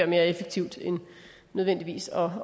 mere effektivt end nødvendigvis at